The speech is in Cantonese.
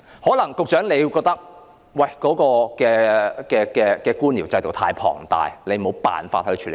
可能局長會覺得官僚制度太龐大，沒辦法處理。